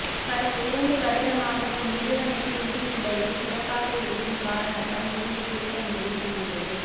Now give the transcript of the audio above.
கடந்த இரண்டு வருடமாக இந்நிறுவனத்தின் நிதி நிலைகள் சிறப்பாக இருக்கும் காரணத்தால் நிதியைத் திரட்ட முடிவு செய்துள்ளது